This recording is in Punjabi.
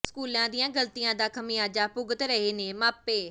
ਸਕੂਲਾਂ ਦੀਆਂ ਗ਼ਲਤੀਆਂ ਦਾ ਖ਼ਮਿਆਜ਼ਾ ਭੁਗਤ ਰਹੇ ਨੇ ਮਾਪੇ